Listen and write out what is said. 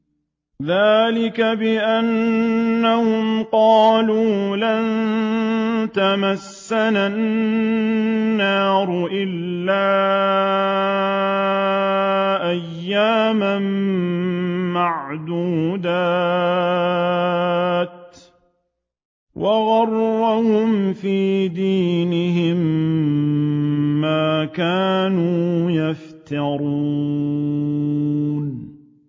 ذَٰلِكَ بِأَنَّهُمْ قَالُوا لَن تَمَسَّنَا النَّارُ إِلَّا أَيَّامًا مَّعْدُودَاتٍ ۖ وَغَرَّهُمْ فِي دِينِهِم مَّا كَانُوا يَفْتَرُونَ